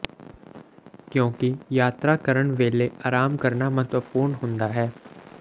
ਕਿਉਂਕਿ ਯਾਤਰਾ ਕਰਨ ਵੇਲੇ ਆਰਾਮ ਕਰਨਾ ਮਹੱਤਵਪੂਰਨ ਹੁੰਦਾ ਹੈ